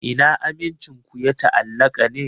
Ina amincin ku ya ta'allaka ne?